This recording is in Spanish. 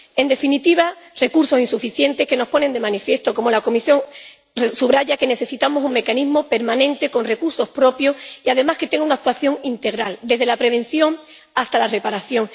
En definitiva, los recursos son insuficientes, lo que nos pone de manifiesto —como la Comisión subraya— que necesitamos un mecanismo permanente con recursos propios y además que tenga una actuación integral, desde la prevención hasta la reparación.